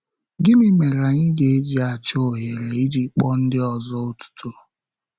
Gịnị mere anyị ga-eji achọ ohere iji kpọọ ndị ọzọ otuto?